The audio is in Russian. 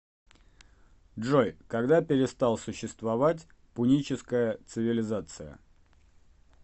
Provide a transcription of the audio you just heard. джой когда перестал существовать пуническая цивилизация